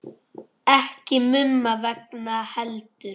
Ekki Mumma vegna heldur.